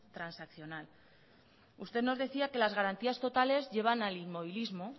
transaccional usted nos decía que las garantías totales llevan al inmovilismo